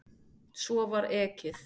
Svo var ekið.